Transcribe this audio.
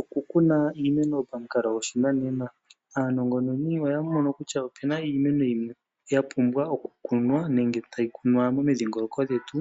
Okukuna iimeno pamukalo gwoshinanena, aanongononi oya mono kutya opu na iimeno yimwe yapumbwa okukunwa nenge tayi kunwa momidhingoloko dhetu